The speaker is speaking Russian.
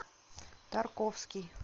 тарковский